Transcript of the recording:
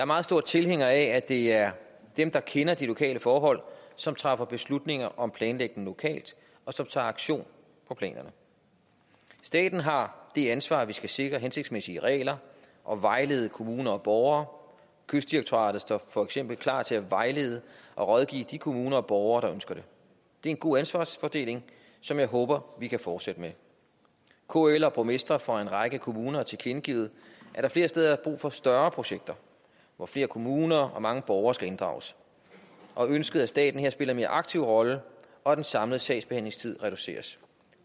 meget stor tilhænger af at det er dem der kender de lokale forhold som træffer beslutninger om planlægning lokalt og som tager aktion på planerne staten har det ansvar at vi skal sikre hensigtsmæssige regler og vejlede kommuner og borgere kystdirektoratet står for eksempel klar til at vejlede og rådgive de kommuner og borgere der ønsker det det er en god ansvarsfordeling som jeg håber vi kan fortsætte med kl og borgmestre fra en række kommuner har tilkendegivet at der flere steder er brug for større projekter hvor flere kommuner og mange borgere skal inddrages og ønsker at staten spiller en mere aktiv rolle og at den samlede sagsbehandlingstid reduceres